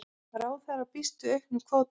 Ráðherra býst við auknum kvóta